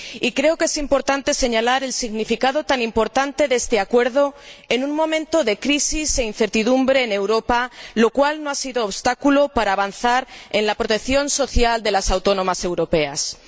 Creo que es fundamental señalar el significado tan importante de este acuerdo en un momento de crisis e incertidumbre en Europa, lo cual no ha sido obstáculo para avanzar en la protección social de las trabajadoras autónomas de la Unión.